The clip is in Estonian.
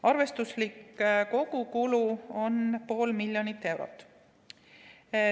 Arvestuslik kogukulu on pool miljonit eurot.